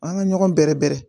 An ka ɲɔgɔn bɛrɛ bɛrɛ